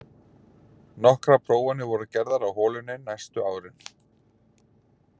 Nokkrar prófanir voru gerðar á holunni næstu árin.